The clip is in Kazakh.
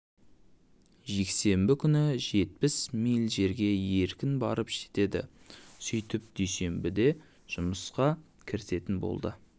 жексенбі күні жетпіс миль жерге еркін барып жетеді сөйтіп дүйсенбіде жұмысқа кірісетін болады